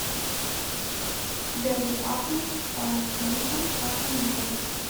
дерби апл саутгемптон с астон виллой